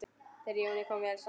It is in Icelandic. Þeim Jóni kom vel saman.